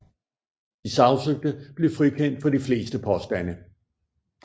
De sagsøgte blev frikendt for de fleste påstande